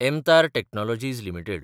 MTAR technologies limited